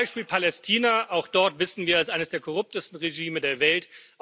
Beispiel Palästina Auch dort, wissen wir, ist eines der korruptesten Regime der Welt.